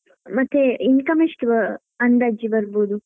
ಮತ್ತೆ income ಎಷ್ಟು ಅ~ ಅಂದಾಜು ಬರ್ಬೋದು?